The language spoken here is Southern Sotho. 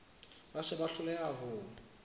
ba se ba hloleha ho